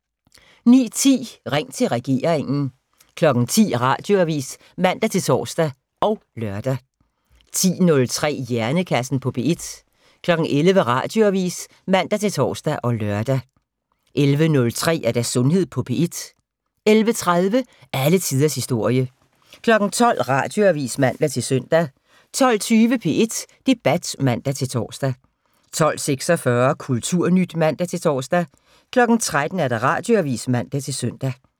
09:10: Ring til regeringen 10:00: Radioavis (man-tor og lør) 10:03: Hjernekassen på P1 11:00: Radioavis (man-tor og lør) 11:03: Sundhed på P1 11:30: Alle tiders historie 12:00: Radioavis (man-søn) 12:20: P1 Debat (man-tor) 12:46: Kulturnyt (man-tor) 13:00: Radioavis (man-søn)